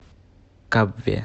кабве